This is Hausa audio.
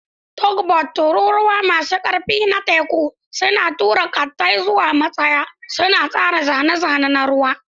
Tugboats, tururuwa masu ƙarfi na teku, suna tura ƙattai zuwa matsayi, suna tsara zane-zane na ruwa.